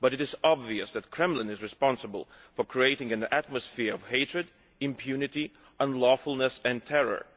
But it is obvious that the Kremlin is responsible for creating an atmosphere of hatred, impunity, unlawfulness and terror.